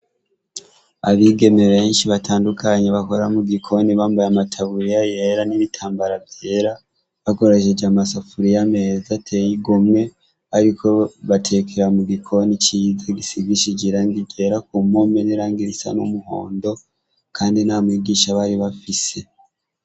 Abigeme benshi batandukanyi bakoramo gikoni bambaye amataburiya yera n'ibitambara vyera bagorashije amasafuriyo ameza ateyigomwe, ariko batekera mu gikoni ciza gisigishijiranga igera ku mome nerangirisa n'umuhondo, kandi na mwigisha bari bafise.